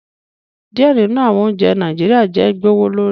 Diẹ ninu awọn ounjẹ Naijiria jẹ gbowolori